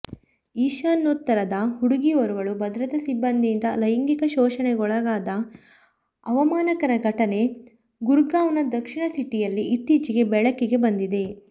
ಈಶಾನ್ಯೋತ್ತರದ ಹುಡುಗಿಯೋರ್ವಳು ಭದ್ರತಾ ಸಿಬ್ಬಂದಿಯಿಂದ ಲೈಂಗಿಕ ಶೋಷಣೆಗೊಳಗಾದ ಅವಮಾನಕರ ಘಟನೆ ಗುರ್ಗಾವ್ನ ದಕ್ಷಿಣ ಸಿಟಿಯಲ್ಲಿ ಇತ್ತೀಚೆಗೆ ಬೆಳಕಿಗೆ ಬಂದಿದೆ